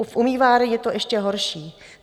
V umývárnách je to ještě horší.